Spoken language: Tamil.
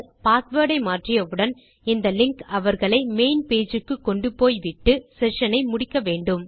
பாஸ்வேர்ட் ஐ மாற்றியவுடன் இந்த லிங்க் அவர்களை மெயின் பேஜ் க்கு கொண்டுபோய்விட்டு செஷன் ஐ முடிக்க வேண்டும்